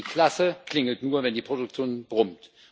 Denn die Kasse klingelt nur, wenn die Produktion brummt.